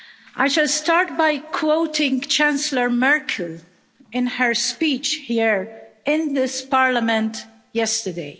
I shall start by quoting Chancellor Merkel in her speech here in this Parliament yesterday.